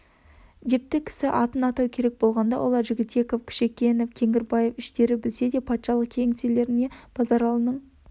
депті кісі атын атау керек болғанда олар жігітеков кішекенов кеңгірбаев іштері білсе де патшалық кеңселеріне базаралының